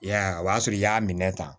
I y'a ye o b'a sɔrɔ i y'a minɛ tan